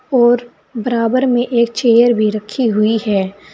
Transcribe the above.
और बराबर में एक चेयर भी रखी हुई है।